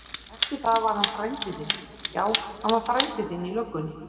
Eftir það var hann frændi þinn, já hann var frændi þinn í löggunni.